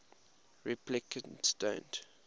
replicants don't